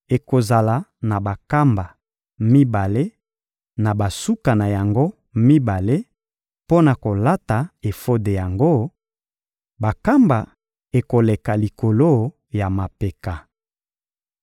Ekozala na bankamba mibale na basuka na yango mibale mpo na kolata efode yango; bankamba ekoleka likolo ya mapeka.